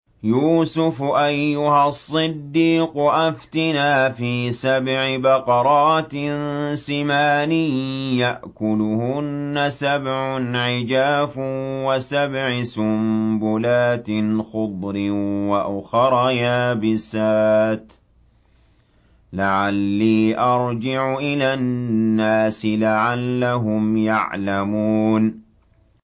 يُوسُفُ أَيُّهَا الصِّدِّيقُ أَفْتِنَا فِي سَبْعِ بَقَرَاتٍ سِمَانٍ يَأْكُلُهُنَّ سَبْعٌ عِجَافٌ وَسَبْعِ سُنبُلَاتٍ خُضْرٍ وَأُخَرَ يَابِسَاتٍ لَّعَلِّي أَرْجِعُ إِلَى النَّاسِ لَعَلَّهُمْ يَعْلَمُونَ